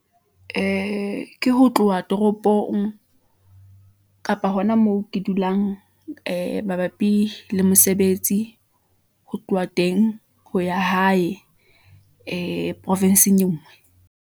Ee, ke ho tloha toropong kapa hona moo ke dulang , ee mabapi le mosebetsi , ho tloha teng ho ya hae , ee provinsing enngwe.